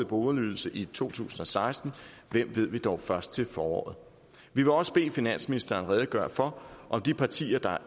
boligydelse i to tusind og seksten hvem ved vi dog først til foråret vi vil også bede finansministeren redegøre for om de partier der